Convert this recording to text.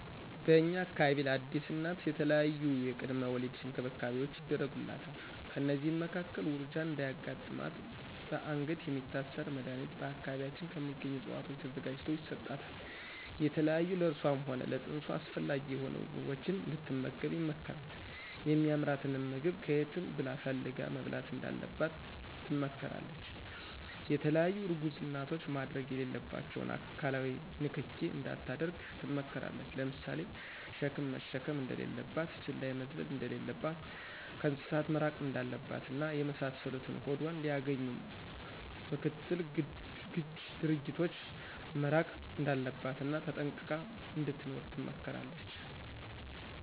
በእኛ አካባቢ ለአዲስ እናት የተለያዪ የቅድመ ወሊድ እንክብካቤዎች ይደረጉላታል። ከእነዚህም መካከል ውርጃ እንዳያጋጥማትበአንገት የሚታሰር መድኀኒት በአካባቢያችን ከሚገኙ እፅዋቶች ተዘጋጅቶ ይሰጣታል፣ የተለያዩ ለእሷም ሆነ ለፅንሱ አስፈላጊ የሆኑ ምግቦችን እንድትመገብ ይመከራል የሚአምራትንም ምግብ ከየትም ብላ ፈልጋ መብላት እንዳለባት ትመከራለች፣ የተለያዪ እርጉዝ እናቶች ማድረግ የሌለባቸውን አካላዊ ንክኪ እንዳታደርግ ትመከራለች ለምሳሌ ሸክም መሸከም እንደሌለባት፣ ዝላይ መዝለል እንደለለባት፣ ከእንስሳት መራቅ እንዳለባት እና የመሳሰሉትን ሆዷን ሊአገኙ ምክትል ግጅ ድርጊቶች መራቅ እንዳለባት እና ተጠንቅቃ እንድትኖር ትመከራለች።